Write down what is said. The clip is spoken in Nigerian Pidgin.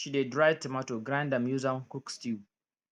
she dey dry tomato grind am use am cook stew